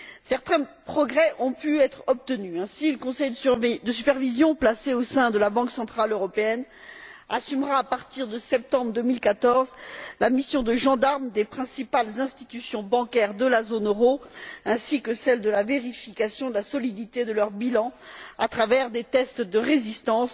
Certains progrès ont pu être obtenus. Le conseil de supervision, placé au sein de la Banque centrale européenne, assumera à partir de septembre 2014 la mission de gendarme des principales institutions bancaires de la zone euro et sera chargé de vérifier la solidité de leur bilan, à travers des tests de résistance,